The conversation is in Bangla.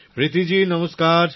প্রীতি জি নমস্কার